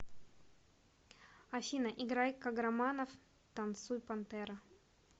афина играй каграманов танцуй пантера